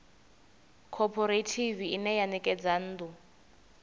khophorethivi ine ya ṋekedza nnḓu